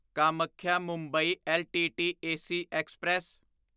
ਕਾਮਾਖਿਆ ਮੁੰਬਈ ਲੱਟ AC express